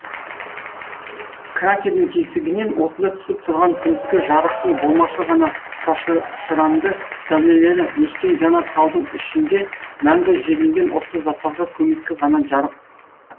кратердің тесігінен осында түсіп тұрған күндізгі жарықтың болмашы ғана шашыранды сәулелері өшкен жанар таудың ішінде мәңгі жерленген осы заттарға көмескі ғана жарық